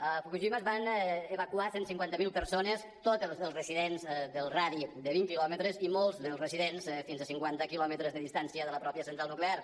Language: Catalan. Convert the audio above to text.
a fukushima es van evacuar cent i cinquanta miler persones tots els residents del radi de vint quilòmetres i molts dels residents fins a cinquanta quilòmetres de distància de la mateixa central nuclear